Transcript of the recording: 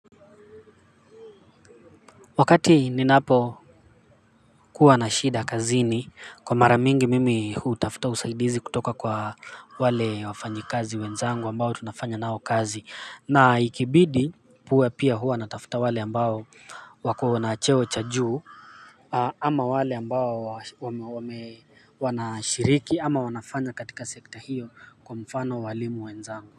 Wakati ninapokuwa na shida kazini kwa mara mingi mimi hutafuta usaidizi kutoka kwa wale wafanyikazi wenzangu ambao tunafanya nao kazi na ikibidi huwa pia huwa natafuta wale ambao wako na cheo cha juu ama wale ambao wanashiriki ama wanafanya katika sekta hiyo kwa mfano waalimu wenzangu.